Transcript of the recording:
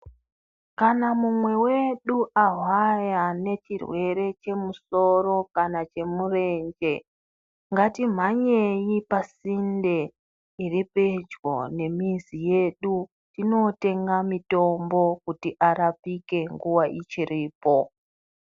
Kana mumwe wedu ahwaya nechirwere chemusoro kana chemurenje, ngatimhanyei pasinde iri pedyo nemizi yedu, tinootenga mitombo kuti arapike nguwa ichiripo.